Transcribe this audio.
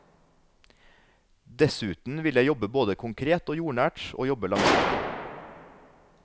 Dessuten vil jeg jobbe både konkret og jordnært og jobbe langsiktig.